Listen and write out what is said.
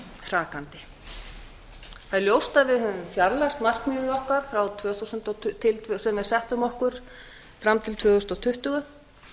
hrakandi það er ljóst að við höfum fjarlægst markmiðið okkar sem við settum okkur fram til tvö þúsund tuttugu